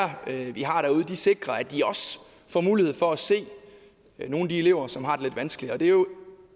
vi har derude sikrer at de også får mulighed for at se nogle af de elever som har det lidt vanskeligt det er jo